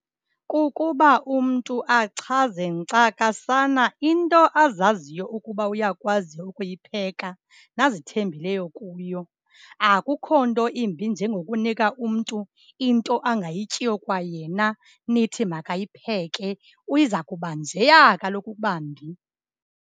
Kukuba umntu achaze nkcakasana into azaziyo ukuba uyakwazi ukuyipheka nazithembeleyo kuyo. Akukho nto imbi njengokunika umntu into angayityiyo kwayena, nithi makayipheke, iza kuba njeya kaloku ukuba mbi.